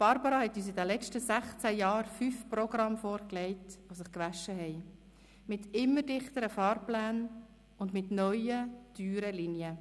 Barbara hat uns in den letzten sechzehn Jahren fünf Programme vorgelegt, die sich gewaschen haben, mit immer dichteren Fahrplänen und mit neuen, teuren Linien.